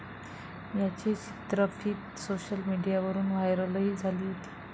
याची चित्रफीत सोशल मिडियावरून व्हायरलही झाली होती.